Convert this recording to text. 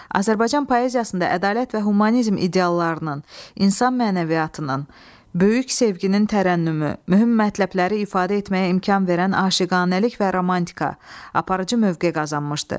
Azərbaycan poeziyasında ədalət və humanizm ideallarının, insan mənəviyyatının, böyük sevginin tərənnümü, mühüm mətləbləri ifadə etməyə imkan verən aşıqanəlik və romantika aparıcı mövqe qazanmışdı.